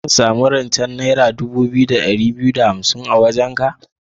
Zan sami rance naira dubu biyu da ɗari biyu da hansim da ɗaya a wajenka?